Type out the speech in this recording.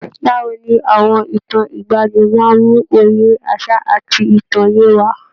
Báwo ni àwọn ìtàn ìgbaanì máa ń mú òye àṣà àti ìtàn yé wa?